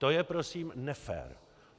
To je prosím nefér.